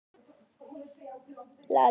Krakkarnir hvískruðu og pískruðu.